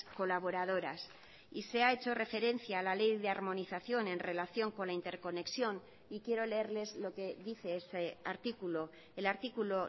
colaboradoras y se ha hecho referencia a la ley de armonización en relación con la interconexión y quiero leerles lo que dice ese artículo el artículo